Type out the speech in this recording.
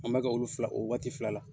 An bɛ ka olu fila, o waati fila la.